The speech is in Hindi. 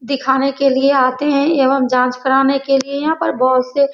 दिखाने के लिए आते हैं एवं जाँच कराने के लिए यहाँ पर बहुत से --